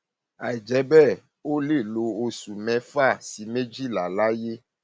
àìjẹ bẹẹ ó lè lo oṣù mẹfà sí méjìlá láyé